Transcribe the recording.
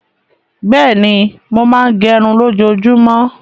Bẹ́ẹ̀ni, mo máa ń gẹrun lójoojúmọ́.